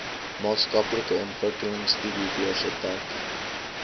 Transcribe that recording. maatskaplike ontwikkelingstudiebeurse dek